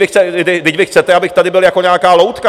Vždyť vy chcete, abych tady byl jako nějaká loutka.